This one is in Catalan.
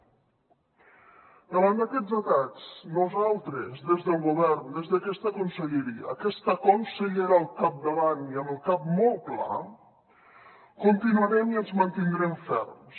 davant d’aquests atacs nosaltres des del govern des d’aquesta conselleria aquesta consellera al capdavant i amb el cap molt clar continuarem i ens mantindrem ferms